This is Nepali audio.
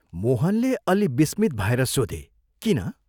" मोहनले अल्लि विस्मित भएर सोधे, " किन?